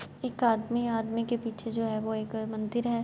ایک آدمی ہے۔ آدمی کے پیچھے جو ہے وو مندر ہے۔